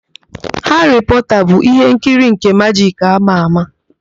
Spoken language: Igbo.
Haarị Pọọta bụ ihe nkiri nke majik ámà ámà.